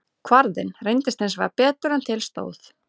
Kvarðinn reyndist hins vegar betur en til stóð.